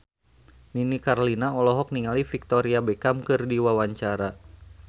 Nini Carlina olohok ningali Victoria Beckham keur diwawancara